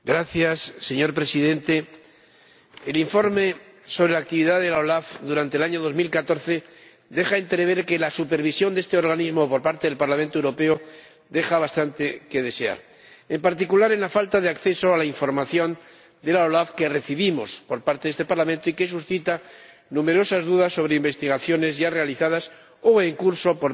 Señor Presidente, el informe sobre la actividad de la OLAF durante el año 2014 deja entrever que la supervisión de este organismo por parte del Parlamento Europeo deja bastante que desear, en particular en la falta de acceso a la información de la OLAF que recibimos por parte de este Parlamento y que suscita numerosas dudas sobre investigaciones ya realizadas o en curso por parte